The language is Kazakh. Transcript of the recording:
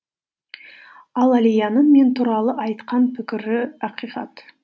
ал әлияның мен туралы айтқан пікірі ақиқат